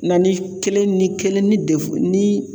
Na ni kelen ni kelen ni ni